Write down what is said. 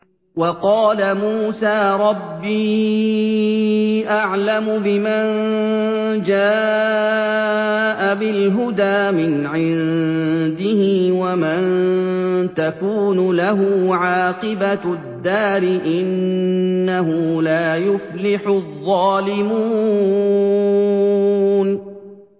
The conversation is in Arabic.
وَقَالَ مُوسَىٰ رَبِّي أَعْلَمُ بِمَن جَاءَ بِالْهُدَىٰ مِنْ عِندِهِ وَمَن تَكُونُ لَهُ عَاقِبَةُ الدَّارِ ۖ إِنَّهُ لَا يُفْلِحُ الظَّالِمُونَ